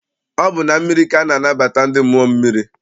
Ọ bụ na mmiri ka a na-anabata ndị mmụọ mmiri.